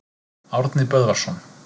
Árni Böðvarsson.